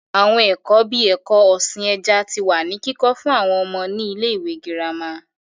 Àwọn ẹ̀kọ́ bíi ẹ̀kọ́ ọ̀sìn ẹja tí wá ní kíkọ́ fún àwọn ọmọ ní ilé ìwé gírámà